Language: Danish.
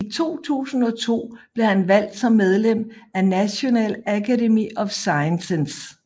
I 2002 blev han valgt som medlem af National Academy of Sciences